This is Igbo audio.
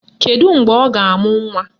Kedu mgbe ọ ga-amụ nnwa?